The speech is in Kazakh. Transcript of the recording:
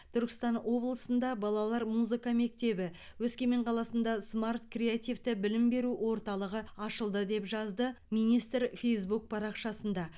түркістан облысында балалар музыка мектебі өскемен қаласында смарт креативті білім беру орталығы ашылды деп жазды министр фейзбук парақшасында